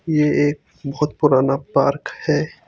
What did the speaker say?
ये एक बहोत पुराना पार्क है।